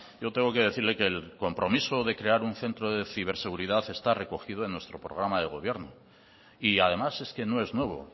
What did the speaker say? yo tengo que decirle que el compromiso de crear un centro de ciberseguridad está recogido en nuestro programa de gobierno y además es que no es nuevo